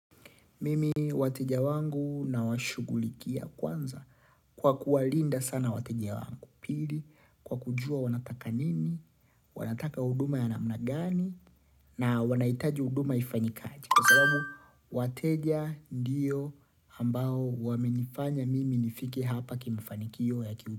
Mimi wateja wangu nawashughulikia kwanza kwa kuwalinda sana wateja wangu. Pili kwa kujua wanataka nini, wanataka huduma ya namna gani na wanahitaji huduma ifanyikaje kwa sababu wateja ndiyo ambao wamenifanya mimi nifike hapa kimafanikio ya kiu.